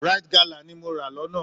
Rite galà ni mo rà lọ́nà